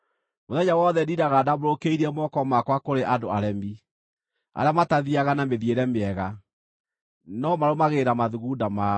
Mũthenya wothe ndindaga ndambũrũkĩirie moko makwa kũrĩ andũ aremi, arĩa matathiiaga na mĩthiĩre mĩega, no marũmagĩrĩra mathugunda mao: